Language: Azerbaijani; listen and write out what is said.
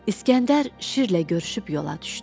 İsgəndər şirlə görüşüb yola düşdü.